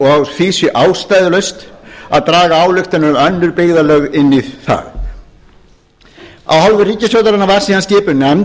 og því sé ástæðulaust að draga ályktanir um önnur byggðarlög inn í það af hálfu ríkisstjórnarinnar var síðan skipuð nefnd